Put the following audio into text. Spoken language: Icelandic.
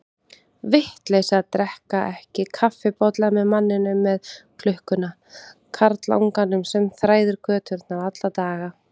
Vitleysa að drekka ekki kaffibolla með manninum með klukkuna, karlanganum sem þræðir göturnar alla daga.